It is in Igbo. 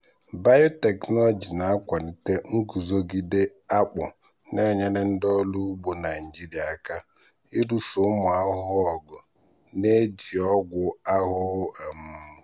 biotechnology na-akwalite nguzogide akpu na-enyere ndị ọrụ ugbo naijiria aka ịlụso ụmụ ahụhụ ọgụ na-ejighi ọgwụ ahụhụ. um